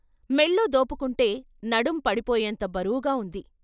మెల్లో దోపుకుంటే నడుం పడిపోయేంత బరువుగా ఉంది.